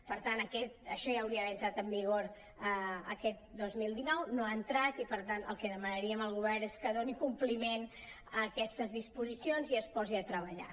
per tant això ja hauria d’haver entrat en vigor aquest dos mil dinou no hi ha entrat i el que demanaríem al govern és que doni compliment a aquestes disposicions i es posi a treballar